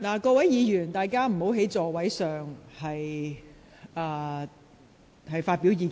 請議員不要在座位上發表意見。